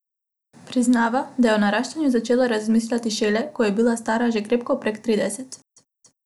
Priznava, da je o naraščaju začela razmišljati šele, ko je bila stara že krepko prek trideset.